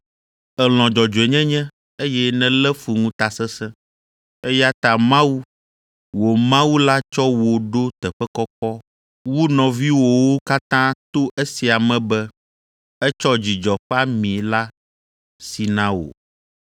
Èlɔ̃ dzɔdzɔenyenye, eye nèlé fu ŋutasesẽ, eya ta Mawu, wò Mawu la tsɔ wò ɖo teƒe kɔkɔ wu nɔviwòwo katã to esia me be etsɔ dzidzɔ ƒe ami la si na wò.”